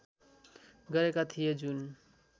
गरेका थिए जुन